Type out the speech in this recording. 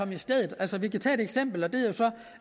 i stedet altså vi kan tage et eksempel og det